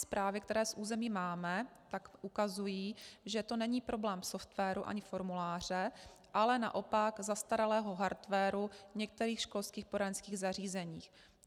Zprávy, které z území máme, ukazují, že to není problém softwaru ani formuláře, ale naopak zastaralého hardwaru v některých školských poradenských zařízeních.